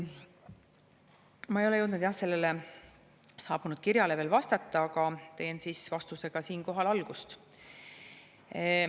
Ma ei ole jõudnud sellele saabunud kirjale veel vastata, aga teen siis vastusega siinkohal algust.